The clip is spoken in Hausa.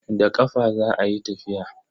Da ƙafa za a yi tafiya.